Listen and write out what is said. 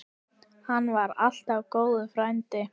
Hann var alltaf góður frændi.